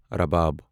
رباب